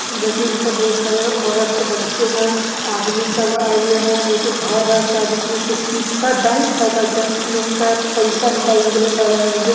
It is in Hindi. देखिए यहाँ बहुत सारे औरत है बच्चे है| आदमी सब आये हुए है| एक घर है| शायद इसमें कुछ चीज़ शायद बैंक है| शायद बैंक मैं इसका पैसा निकाल ने के लिए शायद आये होंगे।